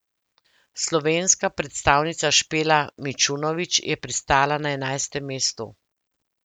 Slovenska predstavnica Špela Mičunovič je pristala na enajstem mestu.